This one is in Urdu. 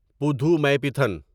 پودھومیپیتھن